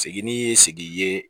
Segin ni ye sigi ye